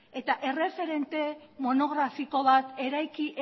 eta erreferente monografiko bat eraiki